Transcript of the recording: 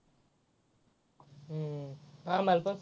हम्म हम्म आम्हाला पण.